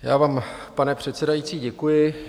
Já vám, pane předsedající, děkuji.